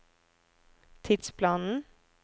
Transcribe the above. tidsplanen